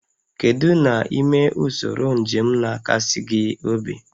Kedu n'ime usoro njem na-akasi gị obi?